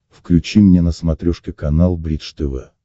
включи мне на смотрешке канал бридж тв